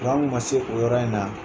Kuran kun ma se o yɔrɔ in na.